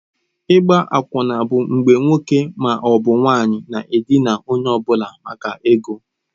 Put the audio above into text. Ịgba akwụna bụ mgbe nwoke ma ọ bụ nwanyị na-edina onye ọ bụla maka ego.